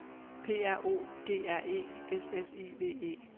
P R O G R E S S I V E